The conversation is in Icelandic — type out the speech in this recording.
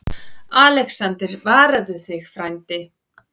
ALEXANDER: Varaðu þig, frændi.